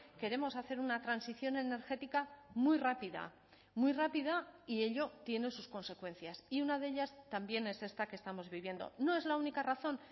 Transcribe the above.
queremos hacer una transición energética muy rápida muy rápida y ello tiene sus consecuencias y una de ellas también es esta que estamos viviendo no es la única razón